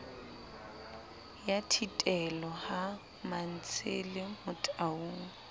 ya thitelo ha mantshele motaung